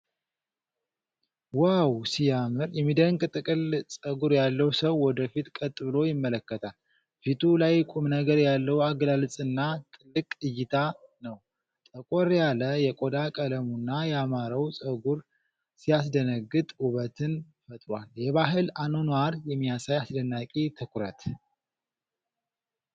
ዋው ሲያምር! የሚደንቅ ጥቅል ፀጉር ያለው ሰው ወደ ፊት ቀጥ ብሎ ይመለከታል። ፊቱ ላይ ቁምነገር ያለው አገላለጽና ጥልቅ እይታ ነው ። ጠቆር ያለ የቆዳ ቀለሙና ያማረው ፀጉሩ ሲያስደነግጥ ውበትን ፈጥሯል። የባህል አኗኗር የሚያሳይ አስደናቂ ትኩረት።